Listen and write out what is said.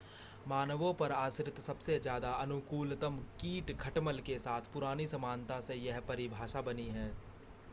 मानवों पर आश्रित सबसे ज़्यादा अनुकूलतम कीट खटमल के साथ पुरानी समानता से यह परिभाषा बनी है